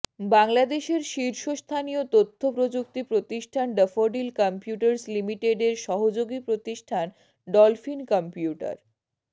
বাংলাদেশের শীর্ষ স্থানীয় তথ্য প্রযুক্তি প্রতিষ্ঠান ড্যাফোডিল কম্পিউটার্স লিমিটেড এর সহযোগি প্রতিষ্ঠান ডলফিন কম্পিউটার